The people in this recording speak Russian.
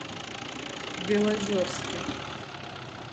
белозерске